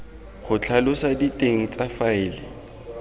go tlhalosa diteng tsa faele